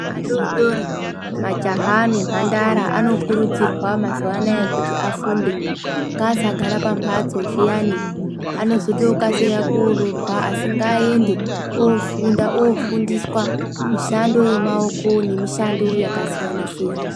Adodori majaha nemhandara anokurudzirwa mazuva anaya kuti afunde. Ngaasagara pamhatso zviyani anozotokasira kooroorwa asi ngaaende ofunda, ofundiswa mishando yemaoko nemishando yakasiyana siyana.